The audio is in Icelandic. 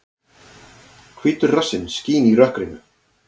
Hvítur rassinn skín í rökkrinu.